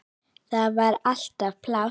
Þar var alltaf pláss.